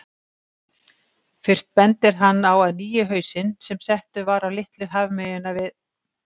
Fyrst bendir hann á að nýi hausinn, sem settur var á Litlu hafmeyna við